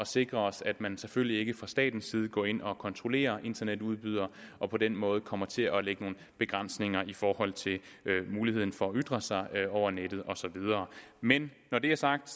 sikre os at man selvfølgelig ikke fra statens side går ind og kontrollerer internetudbydere og på den måde kommer til at lægge nogle begrænsninger i forhold til muligheden for at ytre sig over nettet og så videre men når det er sagt